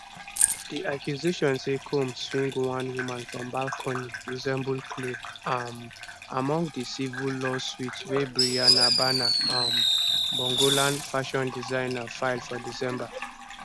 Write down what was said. di accusation say combs swing one woman from balcony resemble claim um among dicivil lawsuitwey bryana bana um bongolan fashion designer file for december